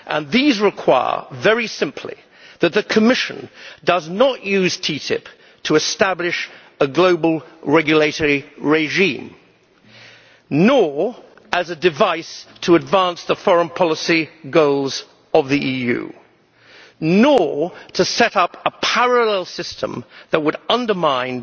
These require, very simply, that the Commission does not use TTIP to establish a global regulatory regime, nor as a device to advance the foreign policy goals of the EU, nor to set up a parallel system that would undermine